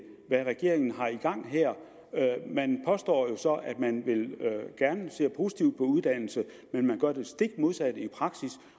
hvad regeringen har i gang her man påstår at man ser positivt på uddannelse men man gør det stik modsatte i praksis